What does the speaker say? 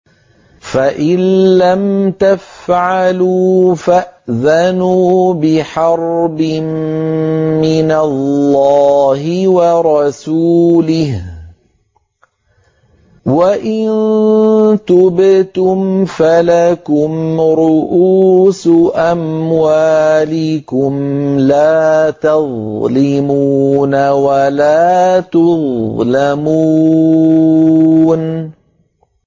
فَإِن لَّمْ تَفْعَلُوا فَأْذَنُوا بِحَرْبٍ مِّنَ اللَّهِ وَرَسُولِهِ ۖ وَإِن تُبْتُمْ فَلَكُمْ رُءُوسُ أَمْوَالِكُمْ لَا تَظْلِمُونَ وَلَا تُظْلَمُونَ